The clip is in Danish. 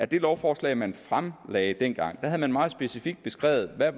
det lovforslag man fremsatte dengang havde man meget specifikt beskrevet hvad